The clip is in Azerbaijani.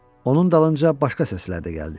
Onun dalınca başqa səslər də gəldi.